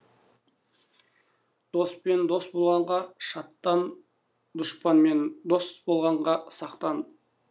доспен дос болғанға шаттан дұшпанмен дос болғаннан сақтан